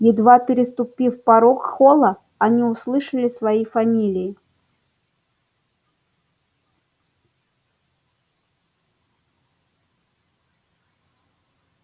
едва переступив порог холла они услышали свои фамилии